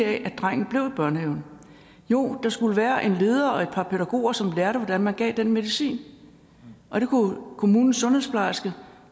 at drengen blev i børnehaven jo der skulle være en leder og et par pædagoger som lærte hvordan man gav den medicin og det kunne kommunens sundhedsplejerske